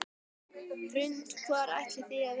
Hrund: Hvar ætlið þið að vera?